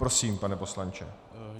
Prosím, pane poslanče.